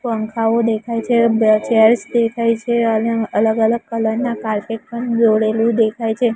પંખાઓ દેખાય છે બે ચેર્સ દેખાય છે અને અલગ અલગ કલર ના કાર્પેટ પણ દોરેલુ દેખાય છે.